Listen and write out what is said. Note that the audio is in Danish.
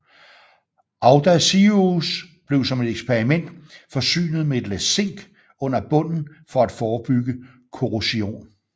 Audacious blev som et eksperiment forsynet med et lag zink under bunden for at forebygge korrosion